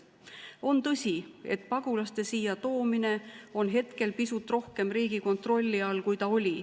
On tõsi, et pagulaste siia toomine on hetkel pisut rohkem riigi kontrolli all, kui ta oli.